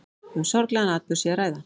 Um sorglegan atburð sé að ræða